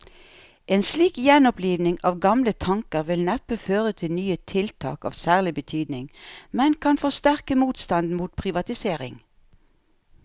En slik gjenoppliving av gamle tanker vil neppe føre til nye tiltak av særlig betydning, men kan forsterke motstanden mot privatisering.